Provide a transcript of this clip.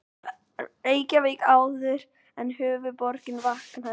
Reykjavík áður en höfuðborgin vaknaði.